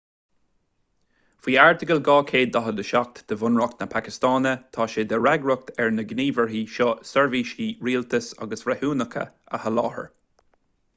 faoi airteagal 247 de bhunreacht na pacastáine tá sé de fhreagracht ar na gníomhairí seo seirbhísí rialtais agus breithiúnacha a sholáthar